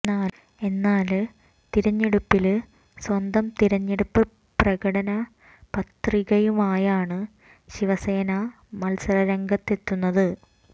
എന്നാല് തിരഞ്ഞെടുപ്പില് സ്വന്തം തിരഞ്ഞെടുപ്പ് പ്രകടന പത്രികയുമായാണ് ശിവസേന മത്സര രംഗത്തെത്തുന്നത്